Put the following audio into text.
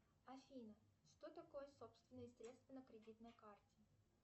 афина что такое собственные средства на кредитной карте